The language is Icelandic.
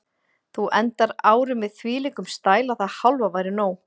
Þú endar árið með þvílíkum stæl að það hálfa væri nóg.